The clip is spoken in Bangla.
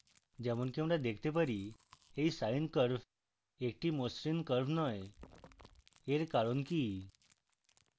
যেমনকি আমরা দেখতে পারি এই sine curve একটি মসৃণ curve নয় এর কারণ কি